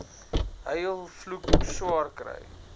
huil vloek swaarkry